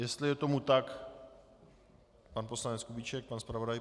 Jestli je tomu tak, pan poslanec Kubíček, pan zpravodaj.